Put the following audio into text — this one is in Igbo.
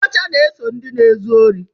Nkọcha na-eso ndị na-ezu ohi.